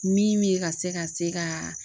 Min bɛ ka se ka se ka